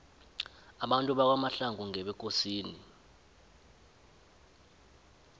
abantu bakwamahlangu ngebekosini